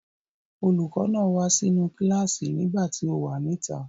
Olùkọ́ náà wá sínú kíláàsì nìgbà tí o wà níta.